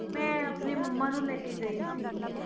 ਮੈਂ ਆਪਣੀ ਮੰਮਾ ਨੂੰ ਲੈ ਕੇ ਗਈ ਸੀ।